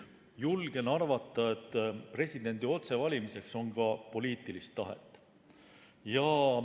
Julgen arvata, et presidendi otsevalimiseks on ka poliitilist tahet.